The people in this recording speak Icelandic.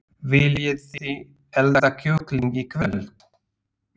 Viljiði elda kjúkling í kvöld?